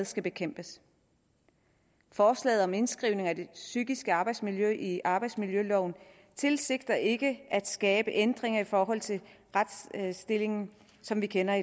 skal bekæmpes forslaget om indskrivning af det psykiske arbejdsmiljø i arbejdsmiljøloven tilsigter ikke at skabe ændringer i forhold til retsstillingen som vi kender